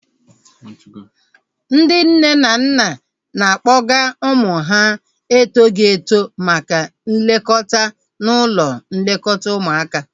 Ndị nne na nna na-akpọga ụmụ ha etoghi eto maka nlekọta n'ụlọ nlekọta ụmụaka